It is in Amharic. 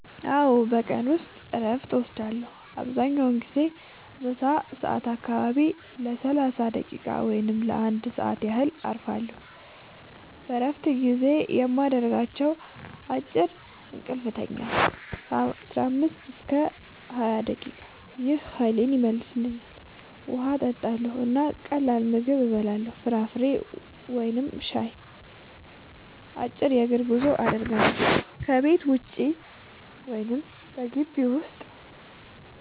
አዎ፣ በቀን ውስጥ እረፍት እወስዳለሁ። አብዛኛውን ጊዜ በምሳ ሰዓት አካባቢ ለ30 ደቂቃ ወይም ለ1 ሰዓት ያህል እረፋለሁ። በእረፍት ጊዜዬ የማደርጋቸው፦ · አጭር እንቅልፍ እተኛለሁ (15-20 ደቂቃ) – ይህ ኃይሌን ይመልሳል። · ውሃ እጠጣለሁ እና ቀላል ምግብ እበላለሁ (ፍራፍሬ ወይም ሻይ)። · አጭር የእግር ጉዞ አደርጋለሁ – ከቤት ውጭ ወይም በግቢው ውስጥ